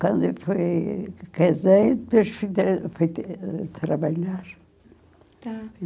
Quando eu fui casei, depois fui tra fui tra trabalhar. Tá.